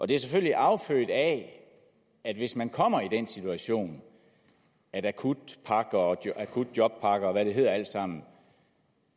det er selvfølgelig affødt af at hvis man kommer i den situation at akutjobpakker og akutjobpakker og hvad det hedder alt sammen